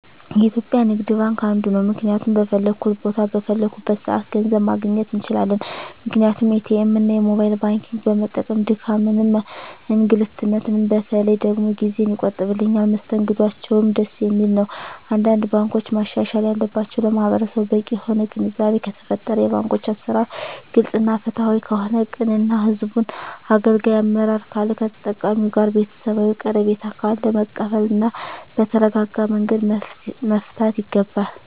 የኢትዩጲያ ንግድባንክ አንዱ ነዉ ምክንያቱም በፈለኩት ቦታ በፈለኩበት ሰአት ገንዘብ ማግኘት እንችላለን ምክንያቱም ኢትኤምእና የሞባይል ባንኪግን በመጠቀም ድካምንም እንግልትም በተለይ ደግሞ ጊዜየን ይቆጥብልኛል መስተንግዶአቸዉም ደስ የሚል ነዉ አንዳንድ ባንኮች ማሻሻል ያለባቸዉ ለማህበረሰቡ በቂ የሆነ ግንዛቤ ከተፈጠረ የባንኮች አሰራር ግልፅ እና ፍትሀዊ ከሆነ ቅን እና ህዝቡን አገልጋይ አመራር ካለ ከተጠቃሚዉ ጋር ቤተሰባዊ ቀረቤታ ካለ መቀበል እና በተረጋጋመንገድ መፍታት ይገባል